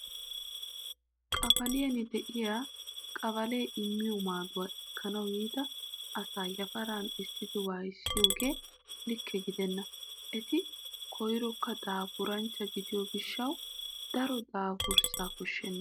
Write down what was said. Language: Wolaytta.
Qabaliyan de'iyaa qabalee immiyoo maaduwaa ekkanawu yiida asaa yaparan essidi waayissiyoogee likke gidenna. Eti koyirokka daapuranchcha gidiyoo gishshaaawu daro daapuraa koshshenna.